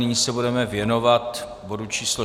Nyní se budeme věnovat bodu číslo